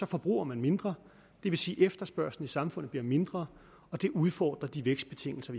forbruger man mindre og det vil sige at efterspørgslen i samfundet bliver mindre og det udfordrer de vækstbetingelser